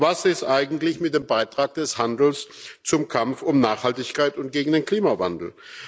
Was ist eigentlich mit dem Beitrag des Handels zum Kampf um Nachhaltigkeit und gegen den Klimawandel?